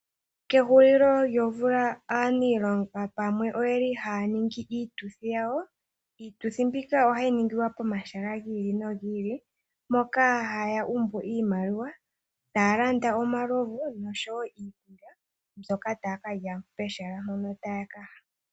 Kehulilo lyomvula aaniilonga pamwe oyeli haya ningi iituthi yawo. Iituthi mbika ohayi ningilwa pomahala gi ili nogi ili, moka haya umbu iimaliwa, taya landa omalovu nosho wo iikulya mbyoka taya ka lya pehala mpono taya ka ya.